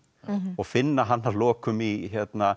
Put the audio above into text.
og finna hann að lokum í